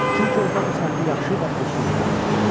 Çünki orda bu sənəti yaxşı və pulsuz öyrədirlər.